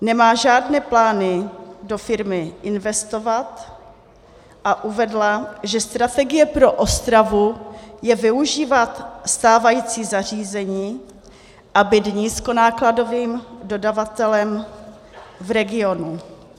Nemá žádné plány do firmy investovat a uvedla, že strategie pro Ostravu je využívat stávající zařízení a být nízkonákladovým dodavatelem v regionu.